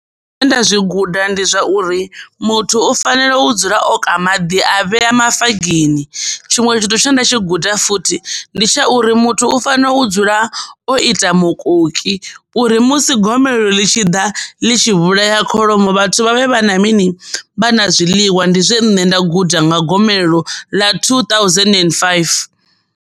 Zwine nda zwi guda ndi zwauri muthu u fanela u dzula o ka maḓi a vhea mafagini, tshiṅwe tshithu tshine nda tshi guda futhi ndi tsha uri muthu u fanela u dzula o ita mukoki uri musi gomelelo ḽi tshi ḓa ḽi tshi vhulaya kholomo vhathu vhavhe vha na mini vha na zwiḽiwa ndi zwine nṋe nda guda nga gomelelo ḽa two thousand and five.